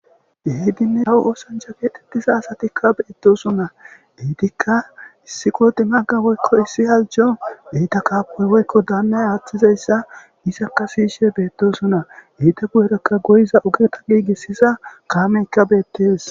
Keehidinne kawo ooschcha geetettiza asatikka beettosonna. Ha etikka issi qodimaga woykko issi halchcho eta qofay woykko daannay aaththiza issa. Isakka shiishe beettosonna. Eta koyirokka goyiza ogeta giigisisa kaameykka beettes.